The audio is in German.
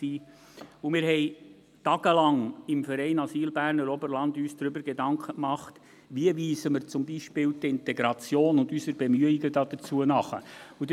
Wir machten uns im Verein Asyl Berner Oberland tagelang darüber Gedanken, wie wir zum Beispiel die Integration und unsere Bemühungen darum nachweisen.